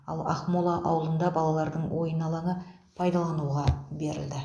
ал ақмол ауылында балалардың ойын алаңы пайдалануға берілді